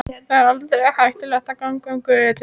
Þar er aldrei hættulegt að ganga um götur.